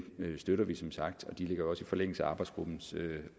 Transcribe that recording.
støtter vi som sagt og de ligger også i forlængelse af arbejdsgruppens